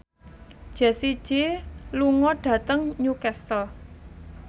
Jessie J lunga dhateng Newcastle